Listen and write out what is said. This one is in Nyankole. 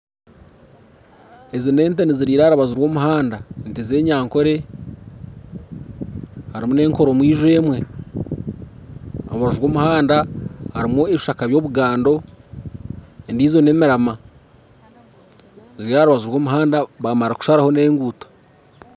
Ezi nente niziriira aha rubaju rw'omuhanda ente z'enyankore harimu n'enkoro-mwija emwe aha rubaju rw'omuhanda hariho ebishaka by'obugando endiijo n'emirama ziri aha rubaju rw'omuhanda baamara kusharaho n'enguuto